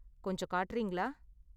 கொஞ்சம் காட்டுறீங்களா?